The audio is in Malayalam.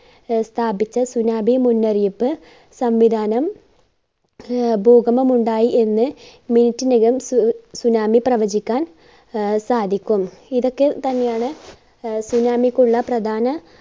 സ്ഥാപിച്ച tsunami മുന്നറിയിപ്പ് സംവിധാനം ഭൂക~ഭൂകമ്പമുണ്ടായി എന്ന് minute നകം സു~ tsunami പ്രവചിക്കാൻ ആഹ് സാധിക്കും. ഇതൊക്കെ തന്നെയാണ് ആഹ് tsunami ക്കുള്ള പ്രധാന